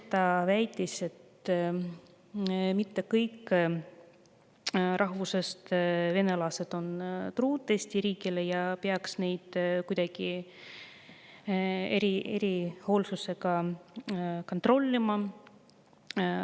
Ta väitis, et mitte kõik vene rahvusest truud Eesti riigile ja neid peaks kuidagi erilise hoolsusega kontrollima.